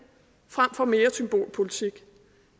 frem for mere symbolpolitik